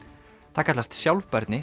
það kallast sjálfbærni